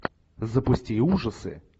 запусти ужасы